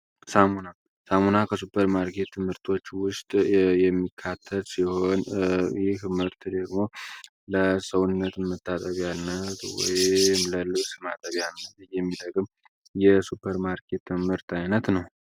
ሳሙና ሳሙና ከሱፐርማርኬት ምርቶች ውስጥ የሚካተት ሲሆን ይህ ምህርት ደግሞ ለሰውነት ምታጠቢያነት ወይም ለልብስ ማጠቢያነት እየሚጠቅም የሱፐርማርኬት ምርት ዓይነት ነው።